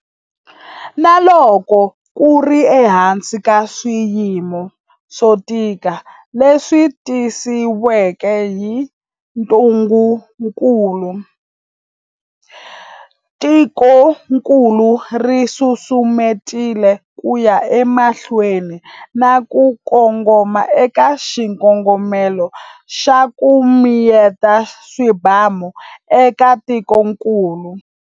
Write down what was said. Na loko ku ri ehansi ka swiyimo swo tika leswi tisiweke hi ntungukulu, tikokulu ri susumetile ku ya emahlweni na ku kongoma eka xikongomelo xa 'ku mi yeta swibamu' eka tikokulu.